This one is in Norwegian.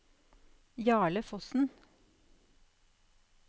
Jarle Fossen